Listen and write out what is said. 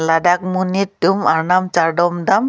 ladak monit tum arnam chardom dam.